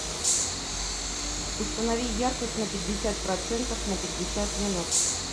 установи яркость на пятьдесят процентов на пятьдесят минут